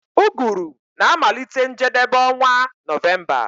Uguru na-amalite njedebe onwa November